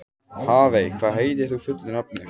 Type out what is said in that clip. Hafey, hvað heitir þú fullu nafni?